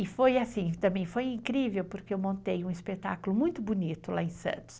E foi assim, também foi incrível, porque eu montei um espetáculo muito bonito lá em Santos.